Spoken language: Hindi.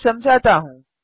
मैं समझाता हूँ